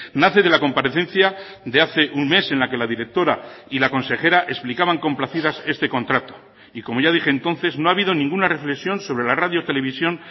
nace de la comparecencia de hace un mes en la que la directora y la consejera explicaban complacidas este contrato y como ya dije entonces no ha habido ninguna reflexión sobre la radio televisión